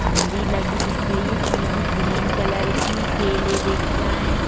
झंडी लगी दिख रही है पिली ग्रीन कलर की केले दिख रहे --